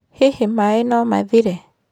Hihi maĩ no mathire?